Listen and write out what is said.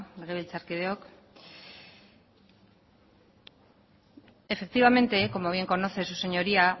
legebiltzarkideok efectivamente como bien conoce su señoría